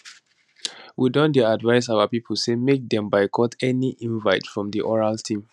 we don dey advise our pipo say make dem boycott any invite from di oral team